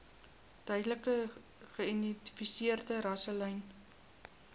duidelik geïdentifiseerde rasselyne